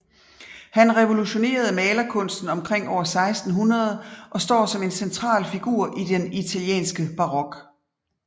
Han revolutionerede malerkunsten omkring år 1600 og står som en central figur i den italienske barok